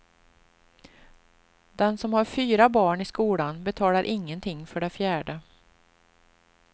Den som har fyra barn i skolan betalar ingenting för det fjärde.